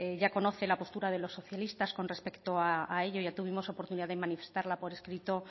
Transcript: ya conoce la postura de los socialistas con respecto a ello ya tuvimos oportunidad de manifestarla por escrito